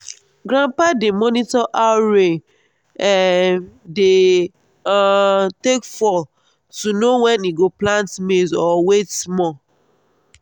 grandpa dey monitor how rain um dey um take fall to know when e go plant maize or wait small.